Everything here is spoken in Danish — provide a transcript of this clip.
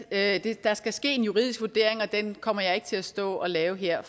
at der skal ske en juridisk vurdering og den kommer jeg ikke til at stå og lave her